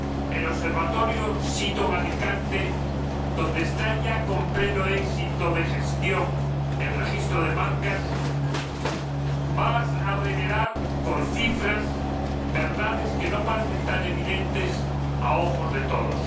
El Observatorio sito en Alicante, donde ya funciona con pleno éxito de gestión el Registro de Marcas, va a revelar con cifras verdades que no parecen tan evidentes a ojos de todos.